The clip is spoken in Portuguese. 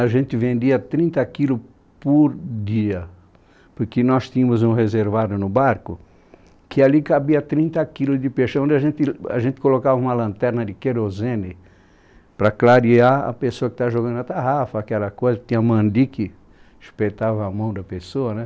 A gente vendia trinta quilos por dia, porque nós tínhamos um reservado no barco que ali cabia trinta quilos de peixe, onde a gente, a gente colocava uma lanterna de querosene para clarear a pessoa que estava jogando na tarrafa, aquela coisa que tinha mandique, espetava a mão da pessoa, né?